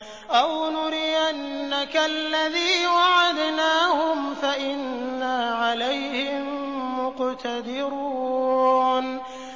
أَوْ نُرِيَنَّكَ الَّذِي وَعَدْنَاهُمْ فَإِنَّا عَلَيْهِم مُّقْتَدِرُونَ